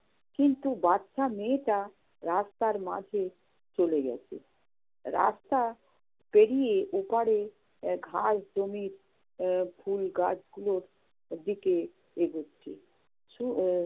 কিন্তু বাচ্চা মেয়েটা রাস্তার মাঝে চলে গেছে। রাস্তা পেরিয়ে ওপাড়ে আহ ঘাসজমি আহ ফুল গাছগুলোর দিকে এগুচ্ছে। আহ